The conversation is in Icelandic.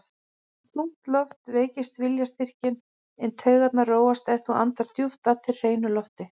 Þung loft veikir viljastyrkinn, en taugarnar róast ef þú andar djúpt að þér hreinu lofti.